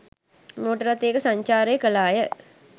Motor රථයක සංචාරය කළාය.